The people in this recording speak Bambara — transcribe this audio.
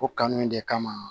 O kanu in de kama